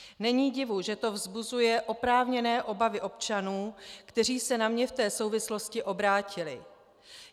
Není divu, že to vzbuzuje oprávněné obavy občanů, kteří se na mě v té souvislosti obrátili.